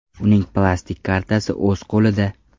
Uning plastik kartasi o‘z qo‘lida.